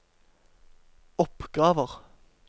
oppgaver